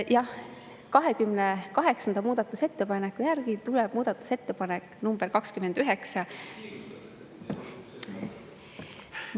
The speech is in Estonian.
Jah, 28. muudatusettepaneku järel tuleb muudatusettepanek nr 29.